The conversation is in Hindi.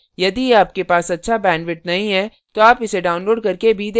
यदि आपके पास अच्छा bandwidth नहीं है तो आप इसे download करके देख सकते हैं